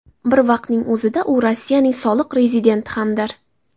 Bir vaqtning o‘zida u Rossiyaning soliq rezidenti hamdir.